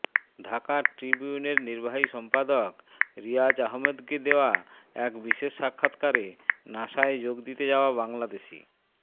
ঢাকা ট্রিবিউনের নির্বাহী সম্পাদক রিয়াজ আহমদকে দেয়া এক বিশেষ সাক্ষাৎকারে নাসায় যোগ দিতে যাওয়া বাংলাদেশি